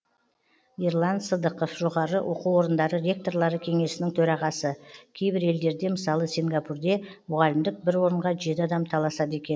ерлан сыдықов жоғары оқу орындары ректорлары кеңесінің төрағасы кейбір елдерде мысалы сингапурде мұғалімдік бір орынға жеті адам таласады екен